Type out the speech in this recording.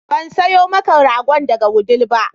Ban sayo maka ragon daga Wudil ba